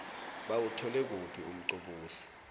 bawuthole kuphi umqobosi